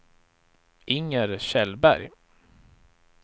Inger Kjellberg